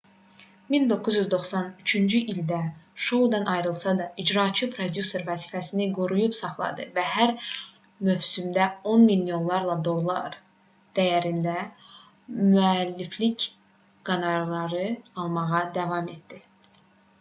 1993-cü ildə şoudan ayrılsa da icraçı prodüser vəzifəsini qoruyub saxladı və hər mövsümdə on milyonlarla dollar dəyərində müəlliflik qonorarı almağa davam etdi